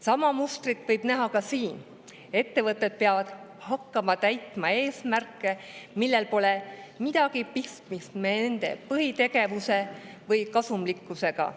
Sama mustrit võib näha ka siin: ettevõtted peavad hakkama täitma eesmärke, millel pole midagi pistmist nende põhitegevuse või kasumlikkusega.